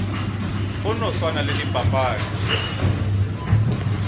go no swana le dipapadi